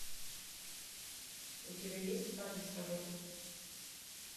у тебя есть парень с работы